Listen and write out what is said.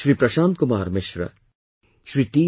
Shri Prashant Kumar Mishra, Shri T